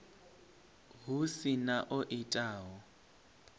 hu si na o itaho